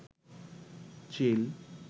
চিল